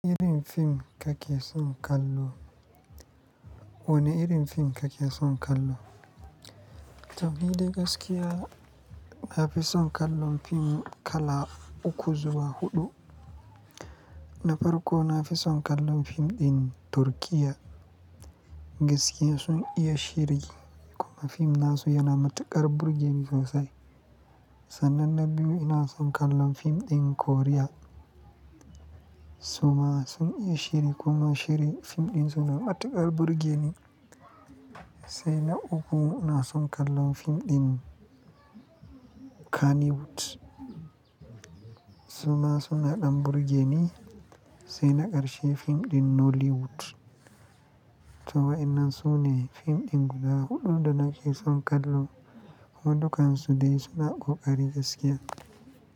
Wane irin fim kake son kallo? Wane irin fim kake son kallo? To, ni dai gaskiya na fi son kallon fim kala uku zuwa huɗu. Na farko, na fi son kallon fim ɗin Turkiyya, gaskiya sun iya shiri kuma fim nasu yana matuƙar burge ni sosai. Sannan na biyu, ina son kallon fim ɗin Koriya. Suma sun iya shiri kuma shiri fim ɗin su na matuƙar burge ni, sai na uku ina son kallon fim ɗin Kannywood. Suma suna ɗan burge ni sai na ƙarshe fim ɗin Nollywood. To waɗannan sune fim ɗin guda huɗu da nake son kallo, kuma dukkansu dai suna ƙoƙari gaskiya.